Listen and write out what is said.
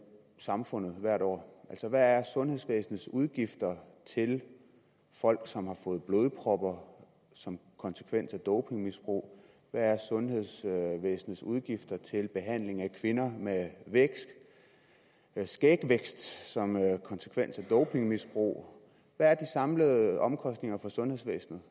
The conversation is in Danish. samfundet hvert år altså hvad er sundhedsvæsenets udgifter til folk som har fået blodpropper som konsekvens af dopingmisbrug hvad er sundhedsvæsenets udgifter til behandling af kvinder med skægvækst som konsekvens af dopingmisbrug hvad er de samlede omkostninger for sundhedsvæsenet